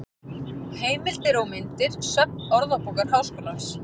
Heimildir og myndir: Söfn Orðabókar Háskólans.